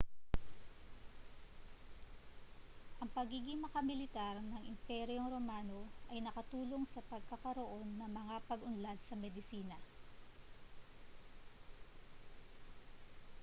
ang pagiging makamilitar ng imperyong romano ay nakatulong sa pagkakaroon ng mga pag-unlad sa medisina